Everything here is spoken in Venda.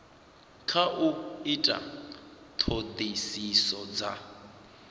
kha u ita ṱhoḓisiso dza